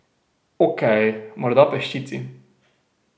Okej, morda peščici.